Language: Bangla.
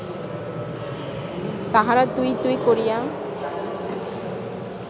তাহারা ‘তুই’ ‘তুই’ করিয়া